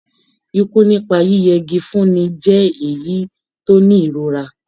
Ikú nípa yíyẹ igi fúnni jẹ́ èyí tó ní ìrora.